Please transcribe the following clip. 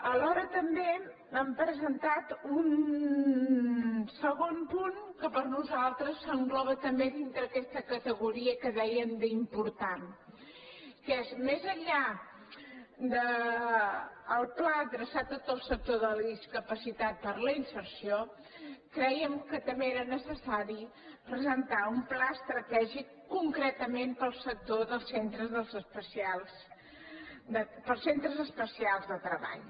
alhora també hem presentat un segon punt que per nosaltres s’engloba també dintre aquesta categoria que dèiem d’ important que és que més enllà del pla adreçat a tot el sector de la discapacitat per a la inserció crèiem que també era necessari presentar un pla estratègic concretament per al sector dels centres especials de treball